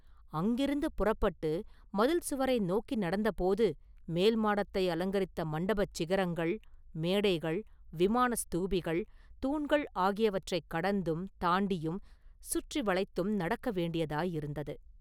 அங்கிருந்து புறப்பட்டு மதில் சுவரை நோக்கி நடந்த போது, மேல்மாடத்தை அலங்கரித்த மண்டபச் சிகரங்கள், மேடைகள், விமான ஸ்தூபிகள், தூண்கள் ஆகியவற்றைக் கடந்தும், தாண்டியும், சுற்றி வளைத்தும் நடக்க வேண்டியதாயிருந்தது.